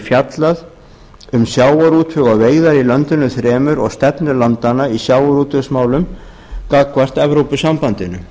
fjallað um sjávarútveg og veiðar í löndunum þremur og stefnu landanna í sjávarútvegsmálum gagnvart evrópusambandinu